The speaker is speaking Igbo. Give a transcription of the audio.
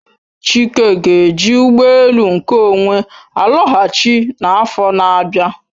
Chike ga-eji ụgbọ elu nke onwe alọghachi n'afọ n'abia.